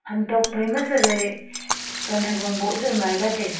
ham tok phai chawai pan hagong boh jao ngai la taiga.